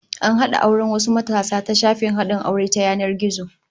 An hada auren wasu matasa ta shafin hadin aure ta yanan gizo